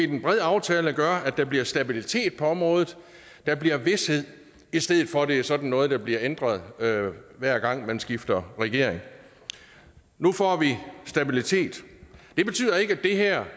den brede aftale gør at der bliver stabilitet på området at der bliver vished i stedet for at det er sådan noget der bliver ændret hver gang man skifter regering nu får vi stabilitet det betyder ikke at det her